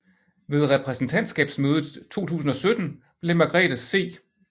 Ved reprædentantskabsmødet 2017 blev Margrethe C